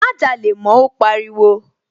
Má jalè mọ́, ó pariwo.